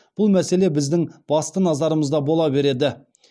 бұл мәселе біздің басты назарымызда бола береді